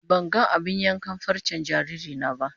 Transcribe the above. Ban gan abin yankan farcen jariri na ba.